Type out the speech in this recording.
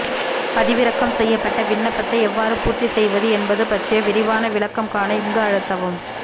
பதிவிறக்கம் செய்யப்பட்ட விண்ணப்பத்தை எவ்வாறு பூர்த்தி செய்வது என்பது பற்றிய விரிவான விளக்கம் காண இங்கு அழுத்தவும்